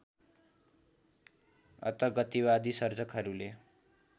अत गतिवादी सर्जकहरूले